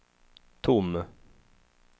tom